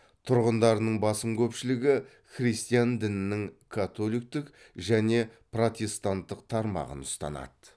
тұрғындарының басым көпшілігі христиан дінінің католиктік және протестанттық тармағын ұстанады